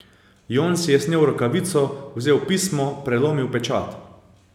Jon si je snel rokavico, vzel pismo, prelomil pečat.